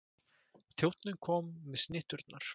Þjónninn kom með snitturnar.